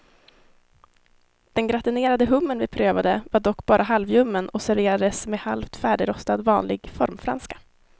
Den gratinerade hummer vi prövade var dock bara halvljummen och serverades med halvt färdigrostad vanlig formfranska.